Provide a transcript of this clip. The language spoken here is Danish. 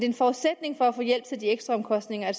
en forudsætning for at få hjælp til de ekstraomkostninger at